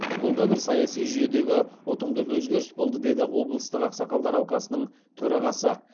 бұл да бір саяси жүйедегі ұтымды өзгеріс болды деді облыстық ақсақалдар алқасының төрағасы